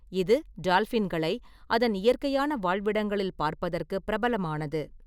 இது டால்பின்களை அதன் இயற்கையான வாழ்விடங்களில் பார்ப்பதற்கு பிரபலமானது.